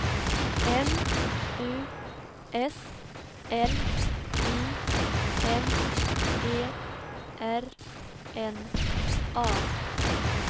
M U S L I M E R N A